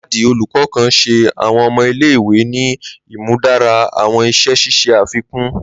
Ladi, olukọ kan, ṣe awọn ọmọ ile-iwe ni imudara awọn iṣẹ ṣiṣe afikun.